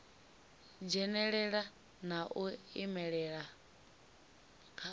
dzhenelela na u imelelwa kha